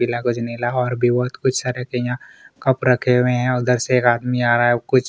पीला कुछ नीला और भी बहुत कुछ तरह के यहाँ कप रखे हुए है उधर से एक आदमी आ रहा है कुछ--